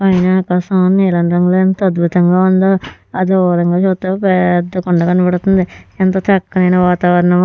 పైన ఆకాశం నీలం రంగులో ఎంత అద్భుతంగా ఉందో ఆ దూరంగా చూస్తే పెద్ద కొండ కనపడుతుంది ఎంత చక్కనైన వాతావరణం.